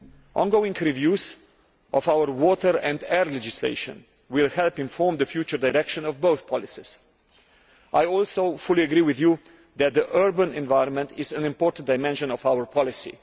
Ongoing reviews of our water and air legislation will help inform the future direction of both policies. I also fully agree with you that the urban environment is an important dimension of our policy.